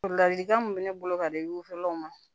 Ladilikan min bɛ ne bolo ka di wulaw ma